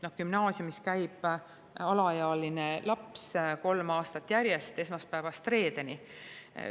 Gümnaasiumis käib alaealine laps kolm aastat järjest esmaspäevast reedeni.